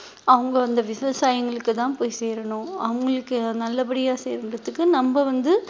அவங்க அந்த விவசாயிங்களுக்குதான் போய் சேரணும் அவங்களுக்கு நல்லபடியா செய்றதுக்கு நம்ம வந்து